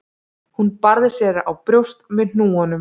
Hún barði sér á brjóst með hnúunum.